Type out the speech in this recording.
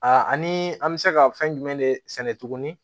ani an bɛ se ka fɛn jumɛn de sɛnɛ tuguni